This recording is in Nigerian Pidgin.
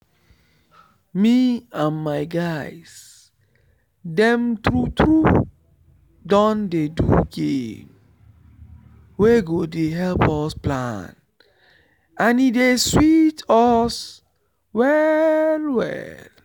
me and my guys dem true true don dey do game wey go dey help us plan and e dey sweet us well well